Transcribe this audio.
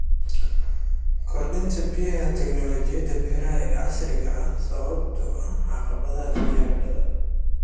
Kordhinta baahida tiknoolajiyada beeraha ee casriga ah sababtoo ah caqabadaha biyaha badan.